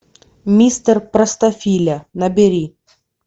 мистер простофиля набери